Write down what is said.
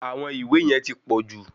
Àwọn ìwé yẹn ti pọ̀jù.